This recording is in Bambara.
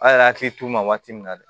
A yɛrɛ hakili t'u ma waati min na dɛ